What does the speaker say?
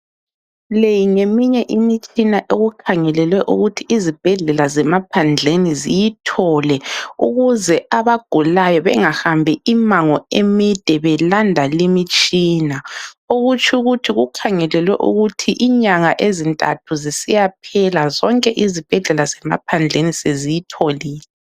Le ngemimye imitshina okukhangelelwe ukuthi izibhedlela zemaphandleni ziyithole ukuze abagulayo bengahambi imango emide belanda limitshina. Kutsho ukuthi okukhangelelwe ukuthi inyanga ezintathu zisiyaphela zonke izibhedlela zemaphandleni seziyitholile